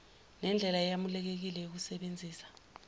nendlela eyamukelekile yokusebenzisa